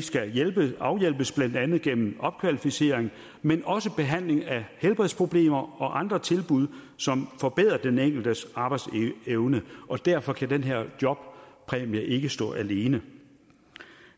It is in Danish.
skal afhjælpes afhjælpes blandt andet gennem opkvalificering men også behandling af helbredsproblemer og andre tilbud som forbedrer den enkeltes arbejdsevne og derfor kan den her jobpræmie ikke stå alene